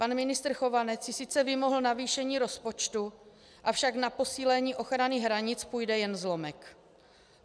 Pan ministr Chovanec si sice vymohl navýšení rozpočtu, avšak na posílení ochrany hranic půjde jen zlomek.